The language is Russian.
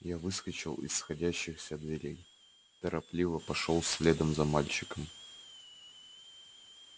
я выскочил из сходящихся дверей торопливо пошёл следом за мальчиком